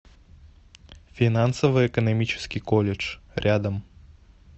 финансово экономический колледж рядом